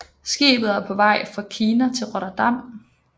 Skibet er på vej fra Kina til Rotterdam